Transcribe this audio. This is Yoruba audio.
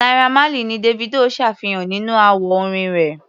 Naira Marley ni Davido ṣàfihàn nínú àwo-orin rẹ̀.